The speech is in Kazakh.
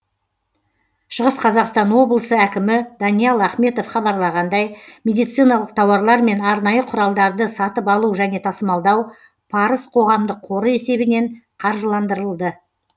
шығыс қазақстан ооблысы әкімі даниал ахметов хабарлағандай медициналық тауарлар мен арнайы құралдарды сатып алу және тасымалдау парыз қоғамдық қоры есебінен қаржыландырылды